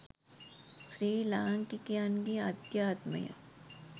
ශ්‍රී ලාංකිකයන් ගේ ආධ්‍යාත්මය,